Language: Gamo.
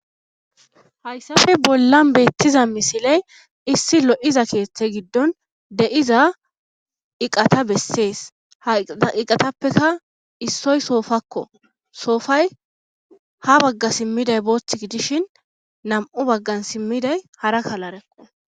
hayssafe bollan beettiza misiley issi lo7iza keeththe giddon de7iza iqata bessees ha iqatappeka issoy soofakko soofay ha bagga simmiday boothth gidishin nam7u baggan simmiday hara kalarekqo